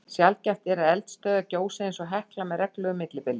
Sjaldgæft er að eldstöðvar gjósi eins og Hekla með reglulegu millibili.